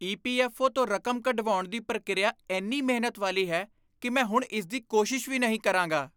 EPFO. ਤੋਂ ਰਕਮ ਕਢਵਾਉਣ ਦੀ ਪ੍ਰਕਿਰਿਆ ਇੰਨੀ ਮਿਹਨਤ ਵਾਲੀ ਹੈ ਕਿ ਮੈਂ ਹੁਣ ਇਸ ਦੀ ਕੋਸ਼ਿਸ਼ ਵੀ ਨਹੀਂ ਕਰਾਂਗਾ।